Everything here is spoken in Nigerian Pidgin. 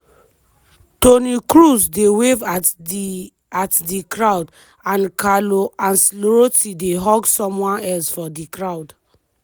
toni kroos dey wave at di at di crowd and carlo ancelotti dey hug someone else for di crowd.